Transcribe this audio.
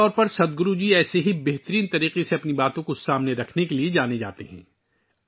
عام طور پر، سدگرو جی اپنے خیالات کو اس طرح کے قابل ذکر انداز میں پیش کرنے کے لیے جانے جاتے ہیں